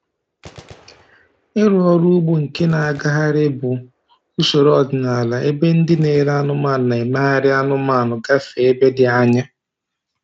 Ịrụ ọrụ ugbo nke na-agagharị bụ usoro ọdịnala ebe ndị na-ele anụmanụ na-emegharị anụmanụ gafee ebe dị anya.